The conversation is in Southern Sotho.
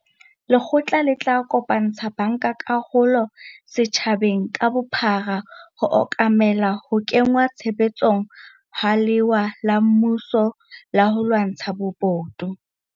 Lekgotla le tla kopantsha bankakarolo setjhabeng ka bophara ho okomela ho kengwa tshebetsong ha lewa la mmuso la ho lwantsha bobodu.